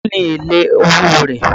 Èló ni èlé owó rẹ̀?